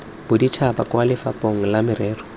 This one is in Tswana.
boditšhaba kwa lefapheng la merero